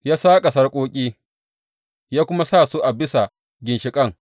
Ya saƙa sarƙoƙi, ya kuma sa su a bisa ginshiƙan.